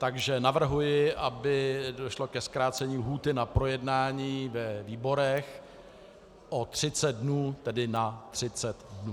Takže navrhuji, aby došlo ke zkrácení lhůty na projednání ve výborech o 30 dnů, tedy na 30 dnů.